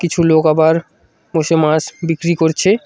কিছু লোক আবার বসে মাছ বিক্রি করছে।